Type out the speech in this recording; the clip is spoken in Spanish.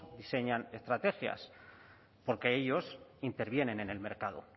diseñan estrategias porque ellos intervienen en el mercado